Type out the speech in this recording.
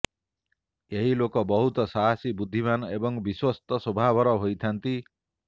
ଏହି ଲୋକେ ବହୁତ ସାହାସୀ ବୁଦ୍ଧିମାନ୍ ଏବଂ ବିଶ୍ବସ୍ତ ସ୍ବଭାବର ହୋଇଥାନ୍ତି